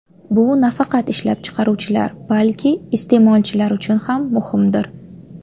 Bu nafaqat ishlab chiqaruvchilar, balki iste’molchilar uchun ham muhimdir.